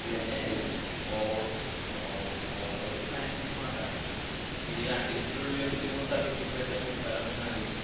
അതിനെ ഓ ഓ over planning ഒന്നും വേണ്ട. ഈ രണ്ടുദിവസത്തിന്റെയുള്ളില് എവിടെങ്കിലും തട്ടി കൂട്ടി പെട്ടെന്ന് വിട്ടാലോ എന്ന് ആലോചിച്ച്.